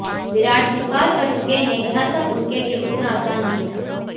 विराट स्वीकार कर चुके हैं यह सब उनके लिए उतना आसान नहीं था